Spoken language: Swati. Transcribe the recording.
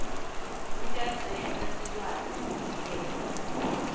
kutasenta sikwati kuniketa